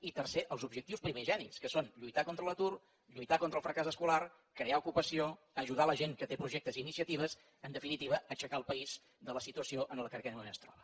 i tercer els objectius primigenis que són lluitar contra l’atur lluitar contra el fracàs escolar crear ocupació ajudar la gent que té projectes i iniciatives en definitiva aixecar el país de la situació en què en aquests moments es troba